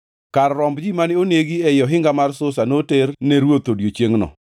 Kar romb ji mane onegi ei ohinga mar Susa noter ne ruoth e odiechiengʼno.